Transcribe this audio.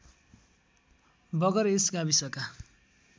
बगर यस गाविसका